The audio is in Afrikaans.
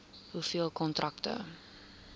hoeveel kontrakte